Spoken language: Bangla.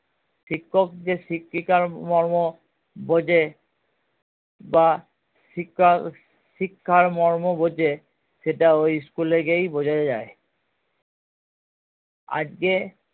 শিক্ষক যে শিক্ষিকার মর্ম বোঝে বা শিক্ষা শিক্ষার মর্ম বোঝে সেটা ওই school এ গিয়েই বোঝা যায় আজকে